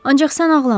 Ancaq sən ağlama.